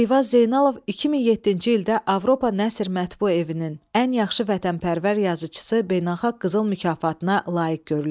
Eyvaz Zeynalov 2007-ci ildə Avropa Nəsr Mətbu Evinin ən yaxşı vətənpərvər yazıçısı beynəlxalq qızıl mükafatına layiq görülüb.